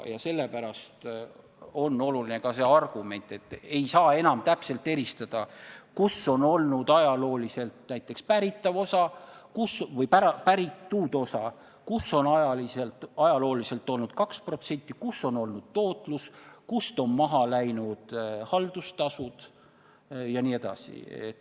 Sellepärast on oluline ka see argument, et ei saa enam täpselt eristada, kus on ajalooliselt olnud näiteks päritud osa, kus on ajalooliselt olnud 2%, kus on olnud tootlus, kust on maha läinud haldustasud jne.